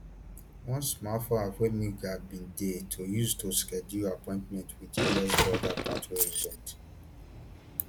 one smartphone app wey migrants bin dey to use to schedule appointments wit us border patrol agents